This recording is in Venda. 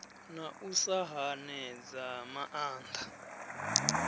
na u sa hanedza maanda